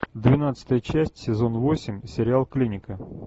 двенадцатая часть сезон восемь сериал клиника